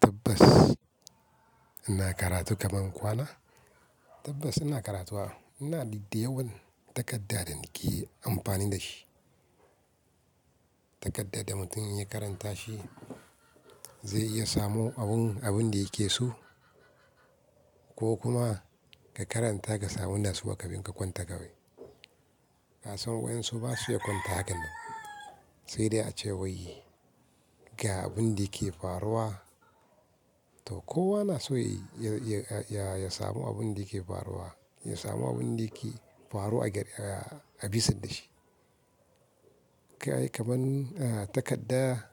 Tabbas ina karatu kaman kwana. Tabbas ina karatu wa, ina didde yawan takarda da nike amfani dashi. Takarda da mutum ya karanta shi zai iya samun abun, abun da yake so ko kuma ka karanta ka samu natsuwa kafin ka kwanta kawai. Kasan waɗansu basu iya kwanta hakan nan. Sai dai ace wai ga abin da ke faruwa. To kowa na so ya, ya, ya samu abun da ke faruwa, ya samu abun da ke faruwa a ger a, a bisa da shi. Kai kaman aa takarda,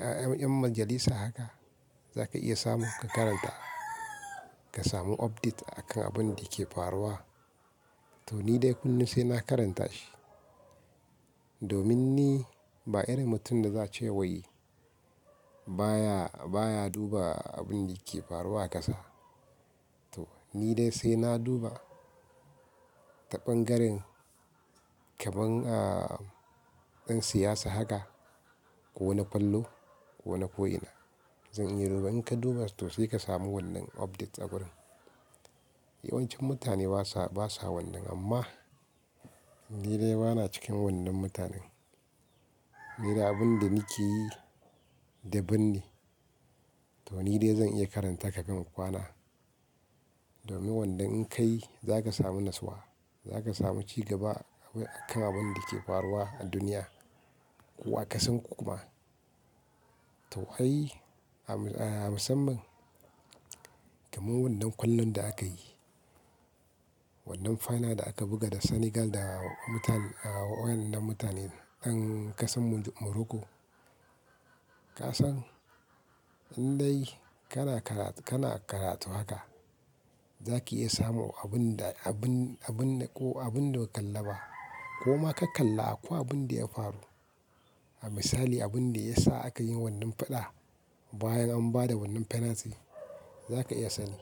'yan majalisa haka zaka iya samu ka karanta ka samu update akan abin da ke faruwa. To, ni dai kullum sai na karanta shi. Domin ni ba irin mutumin da za a ce wai baya, baya duba abin da ke faruwa a ƙasa. To, ni dai sai na duba ta ɓangaren kaman aa ɗan siyasa haka ko wani falo ko wani ko ina. Zan iya duba, in ka duba sai ka samu wannan update agurin. Yawancin mutane basa, basa wannan amma ni dai bana cikin wannan mutanen. Ni dai abin da nike yi daban ne. To, ni dai zan iya karanta ka gama kwana. Domin wannan in kai zaka samu natsuwa, zaka samu ci gaba akan abin da ke faruwa a duniya ko wa ka san ko kuma. To wai a, a musamman kaman wannan kwallon da aka yi, wannan final da aka buga da Senegal da mutane, waɗannan mutanen ɗan ƙasan Moroko. Ka san in dai kana kara, kana karatu haka zaki iya samun abun da, abun, abun ko abun da ba ka kalla ba ko ma ka kalla akwai abin da ya faru. A misali abin da ya sa aka yi wannan faɗa bayan an ba da wannan penalty zaka iya sanin.